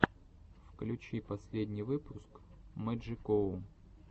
включи последний выпуск мэджикоу